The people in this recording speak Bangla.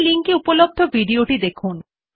এই লিঙ্ক এ উপলব্ধ ভিডিও টি দেখুন